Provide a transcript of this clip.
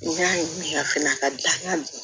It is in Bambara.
N y'a ye a fana ka dakan